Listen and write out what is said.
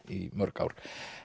í mörg ár